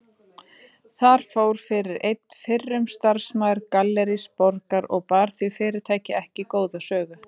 Þar fór fyrir einn fyrrum starfsmaður Gallerís Borgar og bar því fyrirtæki ekki góða sögu.